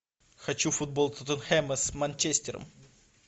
хочу футбол тоттенхэма с манчестером